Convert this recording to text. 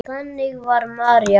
Þannig var María.